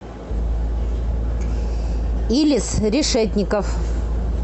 илис решетников